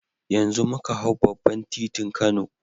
Yanzu muka hau babban titin kano